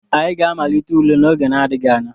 Anyị ga-amalite ule n'oge n'adịghị anya.